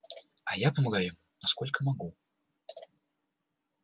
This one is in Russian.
а я помогаю ему насколько могу